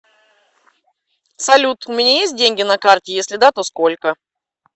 салют у меня есть деньги на карте если да то сколько